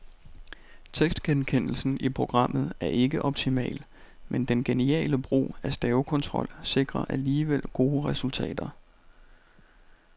Tekstgenkendelsen i programmet er ikke optimal, men den geniale brug af stavekontrol sikrer alligevel gode resultater.